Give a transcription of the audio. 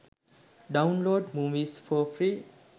download movies for free